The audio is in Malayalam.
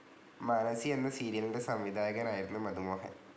മാനസി എന്ന സീരിയലിൻ്റെ സംവിധായകനായിരുന്നു മധു മോഹൻ.